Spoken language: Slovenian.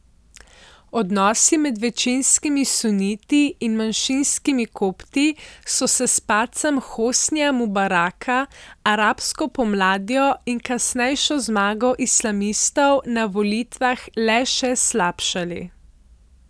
Odnosi med večinskimi suniti in manjšinskimi Kopti so se s padcem Hosnija Mubaraka, arabsko pomladjo in kasnejšo zmago islamistov na volitvah le še slabšali.